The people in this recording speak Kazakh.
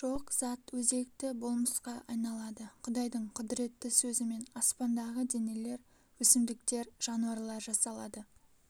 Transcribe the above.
жоқ зат өзекті болмысқа айналады құдайдың құдіретті сөзімен аспандағы денелер өсімдіктер жануарлар жасалады